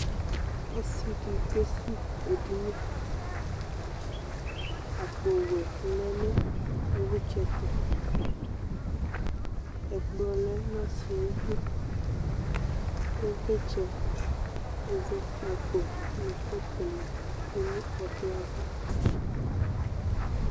ɔsi di kesuwu edini, akpo wɛ lɛ nu ivlitsɛ yɛtu, ɛkplɔ lɛ nu ɔsiɛ ayidu, ivlitsɛ, ɛzɔkpako nu kɔpu ni tsʋe nu ɛkplɔɛ ava